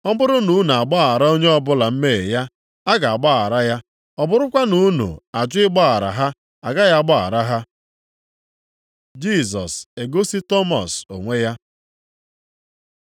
Ọ bụrụ na unu agbaghara onye ọbụla mmehie ya, a ga-agbaghara ya, ọ bụrụkwa na unu ajụ ịgbaghara ha, agaghị agbaghara ha.” Jisọs egosi Tọmọs onwe ya